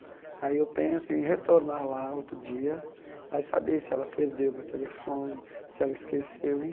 Aí eu penso em retornar lá outro dia, aí saber se ela perdeu o meu telefone, se ela esqueceu,